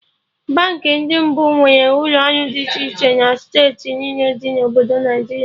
Baankị ndị mbụ nwere ụlọ ọrụ dị iche iche na steeti niile dị na Obodo Naịjiria